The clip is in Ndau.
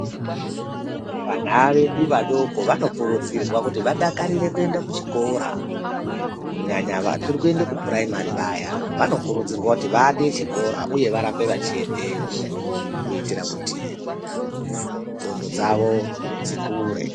Vana vedu vadoko vanokurudzirwa kuti vadakarire kuenda kuchikora, kunyanya vachi kuende kupuraimari vaya vanokurudzirwa kuti vade chikora uye varambe vachiendeyo kuitira kuti ndxondo dzawo dzikure.